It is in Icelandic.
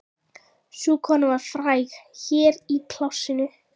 Sú kona var fræg hér í plássinu.